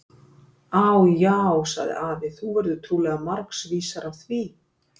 Á, já, sagði afi, þú verður trúlega margs vísari af því.